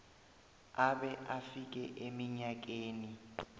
abe afike eminyakeni